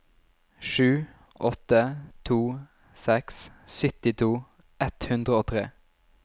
sju åtte to seks syttito ett hundre og tre